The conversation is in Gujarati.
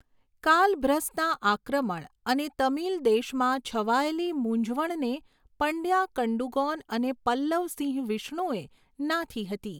કાલભ્રસના આક્રમણ અને તમિલ દેશમાં છવાયેલી મૂંઝવણને પંડ્યા કડુંગોન અને પલ્લવ સિંહવિષ્ણુએ નાથી હતી.